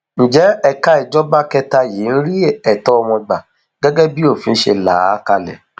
ǹjẹ ẹka ìjọba kẹta yìí ń rí ẹtọ wọn gbà gẹgẹ bí òfin ṣe là á kalẹ